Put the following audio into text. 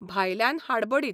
भायल्यान हाडबडीत.